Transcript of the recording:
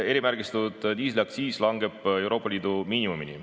Erimärgistatud diisli aktsiis langeb Euroopa Liidu miinimumini.